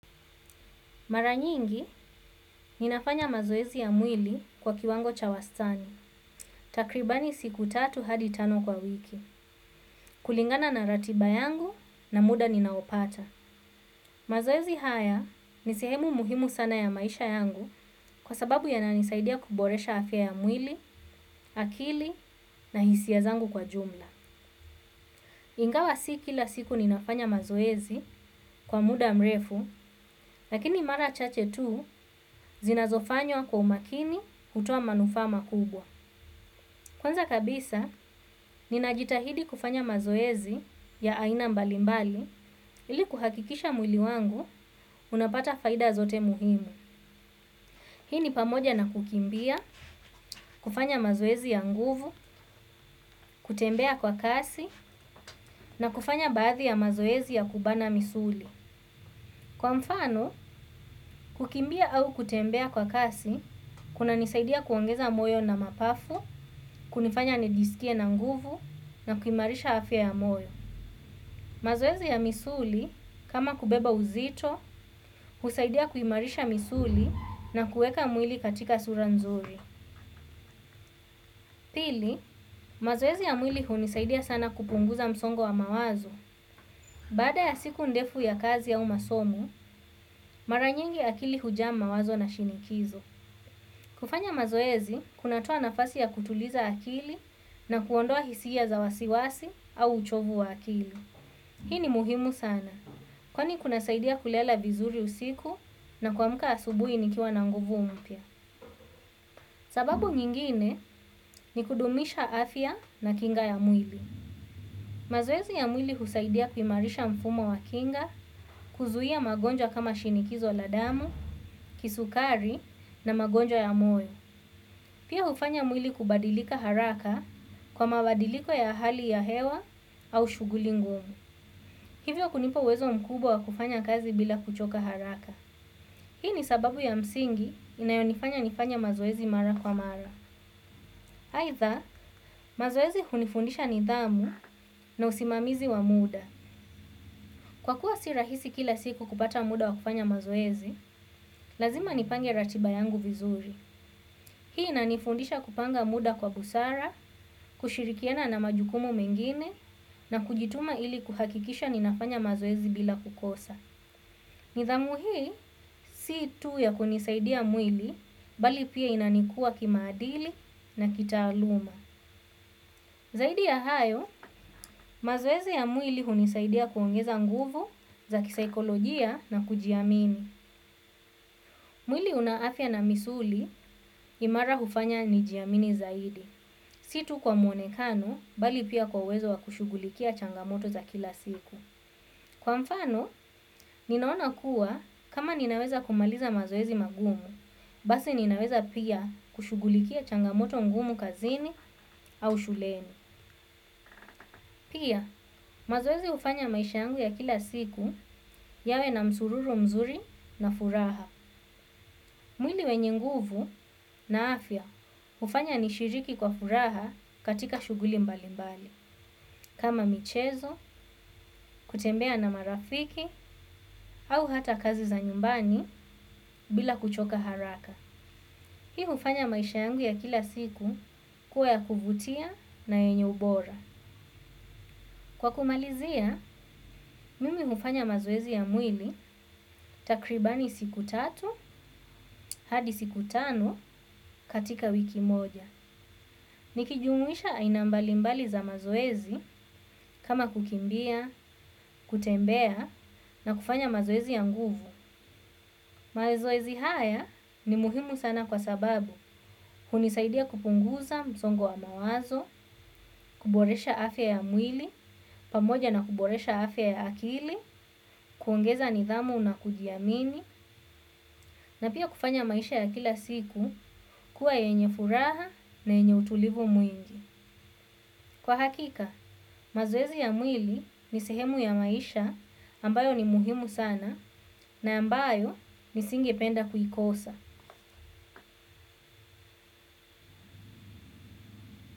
Mara nyingi ninafanya mazoezi ya mwili kwa kiwango cha wastani. Takribani siku tatu hadi tano kwa wiki. Kulingana na ratiba yangu na muda ninaopata. Mazoezi haya ni sehemu muhimu sana ya maisha yangu kwa sababu yananisaidia kuboresha afya ya mwili, akili na hisia zangu kwa jumla. Ingawa si kila siku ninafanya mazoezi kwa muda mrefu, lakini mara chache tu zinazofanywa kwa umakini kutoa manufaa makubwa. Kwanza kabisa, ninajitahidi kufanya mazoezi ya aina mbalimbali ili kuhakikisha mwili wangu unapata faida zote muhimu. Hii ni pamoja na kukimbia, kufanya mazoezi ya nguvu, kutembea kwa kasi na kufanya baadhi ya mazoezi ya kubana misuli. Kwa mfano, kukimbia au kutembea kwa kasi kuna nisaidia kuongeza moyo na mapafu kunifanya nijiskie na nguvu na kuimarisha afya ya moyo. Mazoezi ya misuli kama kubeba uzito husaidia kuimarisha misuli na kuweka mwili katika sura nzuri. Pili, mazoezi ya mwili hunisaidia sana kupunguza msongo wa mawazo. Baada ya siku ndefu ya kazi au masomo, mara nyingi akili hujaa mawazo na shinikizo. Kufanya mazoezi kunatoa nafasi ya kutuliza akili na kuondoa hisia za wasiwasi au uchovu wa akili. Hii ni muhimu sana kwani kuna saidia kulala vizuri usiku na kuamka asubuhi nikiwa na nguvu mpya. Sababu nyingine ni kudumisha afya na kinga ya mwili. Mazoezi ya mwili husaidia kuimarisha mfumo wa kinga, kuzuia magonjwa kama shinikizo la damu, kisukari na magonjwa ya moyo. Pia hufanya mwili kubadilika haraka kwa mabadiliko ya hali ya hewa au shughuli ngumu. Hivyo kunipa uwezo mkubwa wa kufanya kazi bila kuchoka haraka. Hii ni sababu ya msingi inayonifanya nifanye mazoezi mara kwa mara. Aidha, mazoezi hunifundisha nidhamu na usimamizi wa muda. Kwa kuwa si rahisi kila siku kupata muda wa kufanya mazoezi, lazima nipange ratiba yangu vizuri. Hii inanifundisha kupanga muda kwa busara, kushirikiana na majukumu mengine na kujituma ili kuhakikisha ninafanya mazoezi bila kukosa. Nidhamu hii si tu ya kunisaidia mwili bali pia inanikuwa kimaadili na kitaaluma. Zaidi ya hayo, mazoezi ya mwili hunisaidia kuongeza nguvu za kisaikolojia na kujiamini. Mwilo una afya na misuli imara kunifanya nijiamini zaidi. Si tu kwa mwonekano bali pia kwa uwezo wa kushughulikia changamoto za kila siku. Kwa mfano, ninaona kuwa kama ninaweza kumaliza mazoezi magumu, basi ninaweza pia kushughulikia changamoto ngumu kazini au shuleni. Pia, mazoezi hufanya maisha yangu ya kila siku yawe na msururu mzuri na furaha. Mwili wenye nguvu na afya hufanya nishiriki kwa furaha katika shughuli mbali mbali. Kama michezo, kutembea na marafiki, au hata kazi za nyumbani bila kuchoka haraka. Hii hufanya maisha yangu ya kila siku kuwa ya kuvutia na yenye ubora. Kwa kumalizia, mimi hufanya mazoezi ya mwili takribani siku tatu hadi siku tano katika wiki moja nikijumuisha aina mbalimbali za mazoezi kama kukimbia, kutembea na kufanya mazoezi ya nguvu. Mazoezi haya ni muhimu sana kwa sababu hunisaidia kupunguza msongo wa mawazo kuboresha afya ya mwili pamoja na kuboresha afya ya akili kuongeza nidhamu na kujiamini, na pia kufanya maisha ya kila siku kuwa yenye furaha na yenye utulivu mwingi. Kwa hakika, mazoezi ya mwili ni sehemu ya maisha ambayo ni muhimu sana na ambayo nisinge penda kuikosa.